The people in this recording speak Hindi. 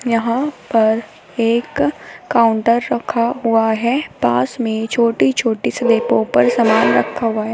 यहां पर एक काउंटर रखा हुआ है पास में छोटी-छोटी स्लेपो पर सामान रखा हुआ है।